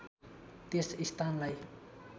त्यस स्थानलाई